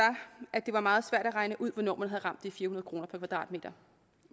at det var meget svært at regne ud hvornår man havde ramt de fire hundrede kroner per kvadratmeter